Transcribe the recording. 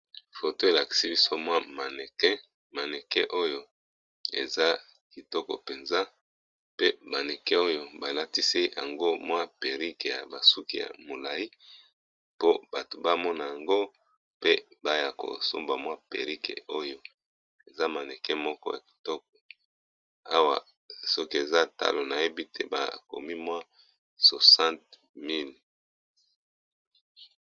foto elakisi biso mwa manmaneke oyo eza kitoko mpenza pe baneke oyo balatisi yango mwa perike ya basuki ya molai po bato bamona yango pe baya kosomba mwa perike oyo eza maneke moko akitoke awa soki eza talo na yebi te bakomi mwa 600 000